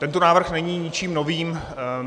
Tento návrh není ničím novým.